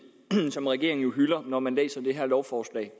som regeringen jo hylder når man læser det her lovforslag